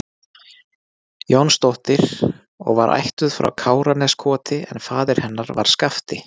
Jónsdóttir og var ættuð frá Káraneskoti en faðir hennar var Skafti